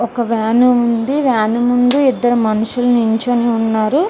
ఒక వ్యాను ఉంది వ్యాను ముందు ఇద్దరు మనుషులు నిల్చొని ఉన్నారు.